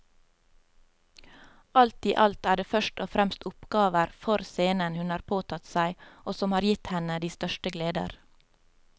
Alt i alt er det først og fremst oppgaver for scenen hun har påtatt seg og som har gitt henne de største gleder.